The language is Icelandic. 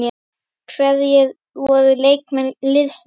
Hverjir voru leikmenn liðsins?